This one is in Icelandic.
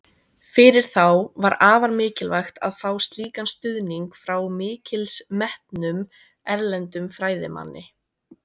Fyrir þá var afar mikilvægt að fá slíkan stuðning frá mikils metnum, erlendum fræðimanni.